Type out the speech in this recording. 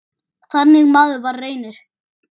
Þannig maður var Reynir.